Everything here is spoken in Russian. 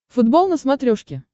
футбол на смотрешке